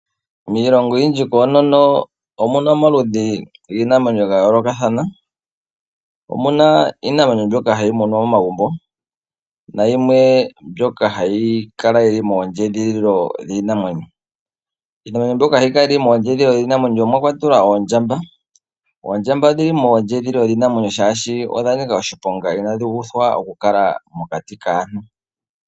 Miilongo oyindji koonono omuna omaludhi giinamwenyo ga yoolokathana. Omu na iinamwenyo mbyoka ha yi munwa momagumbo nayimwe mbyoka ha yi kala yi li moondjedhililo dhiinamwenyo. Iinamwenyo mbyoka ha yi kala mondjedhililo yiinamwenyo omwa kwatelwa oondjamba. Oondjamba odhi li mondjeedhililo dhiinamwenyo shaashi odha nika oshiponga inadhi uthwa oku kala mokati kaantu.